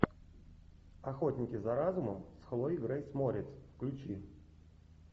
охотники за разумом с хлоей грейс морец включи